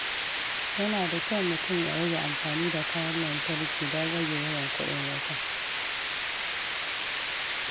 Yana da kyau mutum ya rage amfani da kayan lantarki don rage yawan kuɗin wuta.